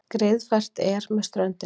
Greiðfært er með ströndinni